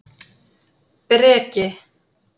Breki